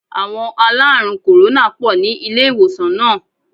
Àwon aláàrùn kòrónà pò ní ilé ìwòsàn náà